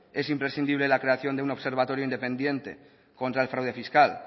es imprescindible la creación de un observatorio contra el fraude fiscal